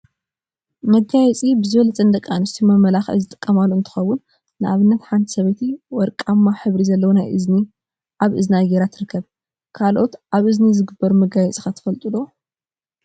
መጋየፂ መጋየፂ ብዝበለፀ ንደቂ አንስትዮ መመላክዒ ዝጥቀማሉ እንትኸውን፤ ንአብነት ሓንቲ ሰበይቲ ወርቃማ ሕብሪ ዘለዎ ናይ እዝኒ አብ እዝና ገይራ ትርከብ፡፡ ካልኦት አብ እዝኒ ዝግበሩ መጋየፂ ኸ ትፈልጡ ዶ?